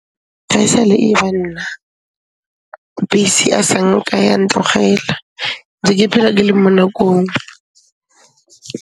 Ga e sa le e ba nna, bese asanka ya ntlogela, ntse ke phela ke le mo nakong.